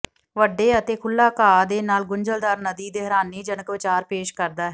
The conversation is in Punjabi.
ਵੱਡੇ ਅਤੇ ਖੁੱਲ੍ਹਾ ਘਾਹ ਦੇ ਨਾਲ ਗੁੰਝਲਦਾਰ ਨਦੀ ਦੇ ਹੈਰਾਨੀਜਨਕ ਵਿਚਾਰ ਪੇਸ਼ ਕਰਦਾ ਹੈ